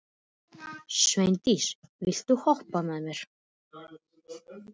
Sveindís, viltu hoppa með mér?